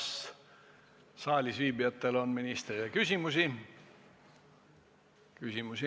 Kas saalis viibijatel on ministrile küsimusi?